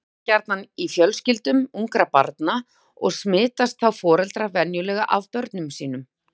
Sést það gjarna í fjölskyldum ungra barna og smitast þá foreldrar venjulega af börnum sínum.